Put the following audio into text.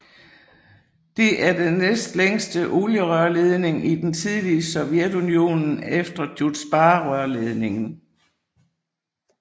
Det er den næstlængste olierørledning i det tidligere Sovjetunionen efter Druzjbarørledningen